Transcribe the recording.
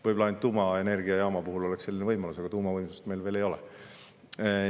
Võib-olla ainult tuumaelektrijaama puhul oleks selline võimalus, aga tuumavõimsust meil veel ei ole.